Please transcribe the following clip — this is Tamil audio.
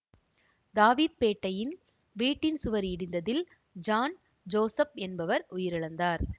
தாவீத் பேட்டையில் வீட்டின் சுவர் இடிந்ததில் ஜான் ஜோசப் என்பவர் உயிரிழந்தார்